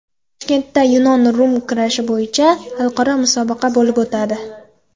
Toshkentda yunon-rum kurashi bo‘yicha xalqaro musobaqa bo‘lib o‘tadi.